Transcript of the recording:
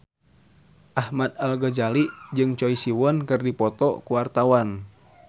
Ahmad Al-Ghazali jeung Choi Siwon keur dipoto ku wartawan